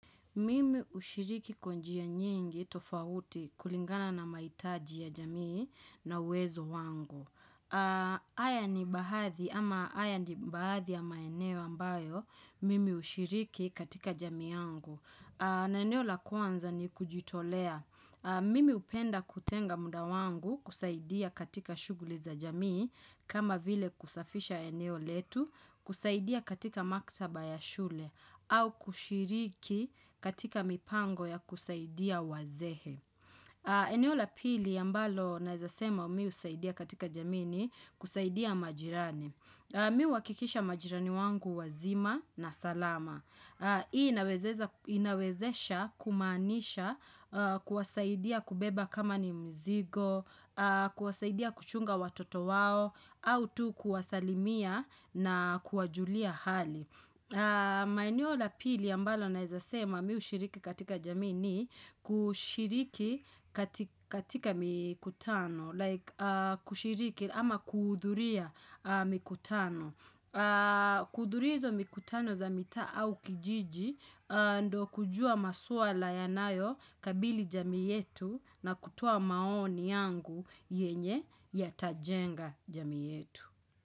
Mimi hushiriki kwa njia nyingi tofauti kulingana na mahitaji ya jamii na uwezo wangu. Haya ni baadhi ama haya ni baadhi ya maeneo ambayo mimi hushiriki katika jamii yangu. Na eneo la kwanza ni kujitolea. Mimi hupenda kutenga muda wangu kusaidia katika shughuli za jamii kama vile kusafisha eneo letu, kusaidia katika maktaba ya shule. Au kushiriki katika mipango ya kusaidia wazee. Eneo la pili ambalo naeza sema mimi husaidia katika jamii ni kusaidia majirani. Mimi huakikisha majirani wangu wazima na salama. Hii inawezesha kumaanisha kuwasaidia kubeba kama ni mzigo, kuwasaidia kuchunga watoto wao, au tu kuwasalimia na kuwajulia hali. Maeneo la pili ambalo naweza sema mimi hushiriki katika jamii ni kushiriki katika mikutano. Like kushiriki ama kuhudhuria mikutano kuhudhuria hizo mikutano za mitaa au kijiji ndiyo kujua maswala yanayokabili jamii yetu na kutoa maoni yangu yenye yatajenga jamii yetu.